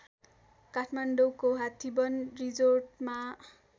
काठमाडौँको हात्तीबन रिजोर्टमा